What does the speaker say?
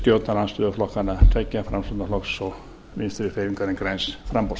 stjórnarandstöðuflokkanna beggja framsóknarflokks og vinstri hreyfingarinnar græns framboðs